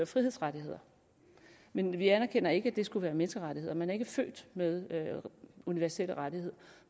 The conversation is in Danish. frihedsrettigheder men vi anerkender ikke at det skulle være menneskerettigheder man er ikke født med en universel rettighed